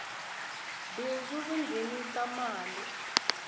bindzu ri nghenisa mali